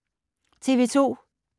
TV 2